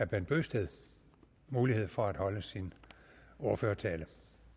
bent bøgsted mulighed for at holde sin ordførertale